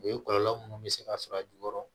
O ye kɔlɔlɔ munnu bɛ se ka sɔrɔ a jukɔrɔ